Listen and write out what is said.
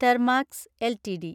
Thermax LTD